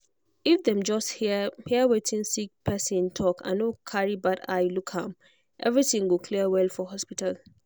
if dem just hear hear wetin sick person talk and no carry bad eye look am everything go clear well for hospital.